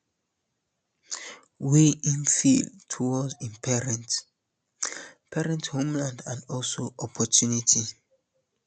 wey im feel towards im parents parents homeland and also opportunity